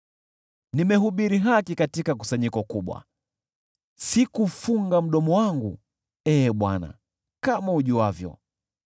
Nimehubiri haki katika kusanyiko kubwa, sikufunga mdomo wangu, Ee Bwana , kama ujuavyo.